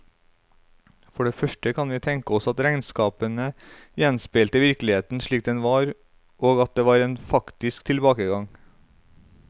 For det første kan vi tenke oss at regnskapene gjenspeilte virkeligheten slik den var, og at det var en faktisk tilbakegang.